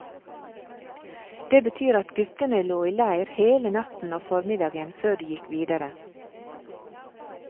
Det betyr at guttene lå i leir hele natt og formiddag før de gikk videre.